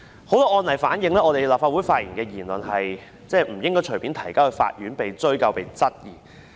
很多案例反映在立法會發表的言論不應該隨意提交法院，被追究及質疑。